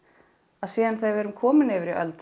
að síðan þegar við erum komin yfir í öld